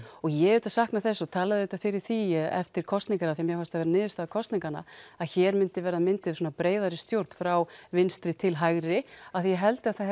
og ég auðvitað sakna þess og talaði fyrir því eftir kosningar af því að mér fannst það vera niðurstaða kosninganna að hér myndi vera mynduð breiðari stjórn frá vinstri til hægri af því að ég held að það